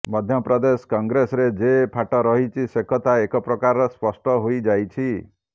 ମଧ୍ୟପ୍ରଦେଶ କଂଗ୍ରେସରେ ଯେ ଫାଟ ରହିଛି ସେକଥା ଏକ ପ୍ରକାରର ସ୍ପଷ୍ଟ ହୋଇଯାଇଛି